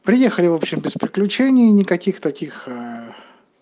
приехали в общем без приключений никаких таких